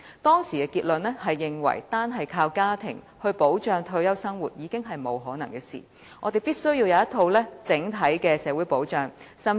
當時的結論是，單靠家庭支援來保障退休生活，已經不可能，我們必須有一套整體的社會保障制度。